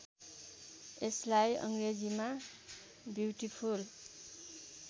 यसलाई अङ्ग्रेजीमा ब्युटिफुल